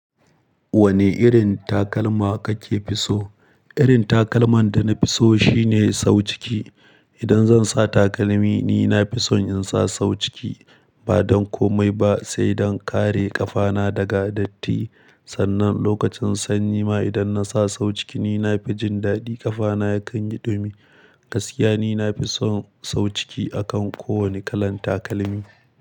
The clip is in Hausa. Wane irin takalma kake fi so? Irin takalman da na fi so shine sau ciki. Idan zan sa takalmi ni nafi son in sa sau ciki ba don komai ba sai don kare ƙafana daga datti. Sannan lokacin sanyi ma idan na sa sau ciki ni nafi jin daɗi ƙafana yakan yi dumi. Gaskiya ni nafi son sau ciki akan ko wane kalan takalmi.